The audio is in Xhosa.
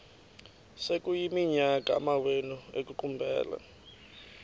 sekuyiminyaka amawenu ekuqumbele